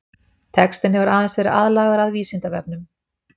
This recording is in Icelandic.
Textinn hefur aðeins verið aðlagaður að Vísindavefnum.